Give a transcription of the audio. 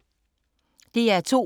DR2